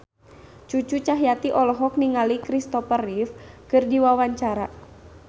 Cucu Cahyati olohok ningali Christopher Reeve keur diwawancara